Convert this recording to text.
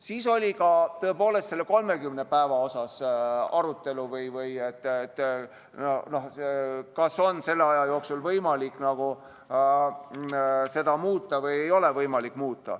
Siis oli tõepoolest arutelu selle 30 päeva üle, et kas selle aja jooksul on võimalik seda muuta või ei ole võimalik.